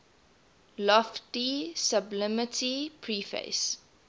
lofty sublimity preface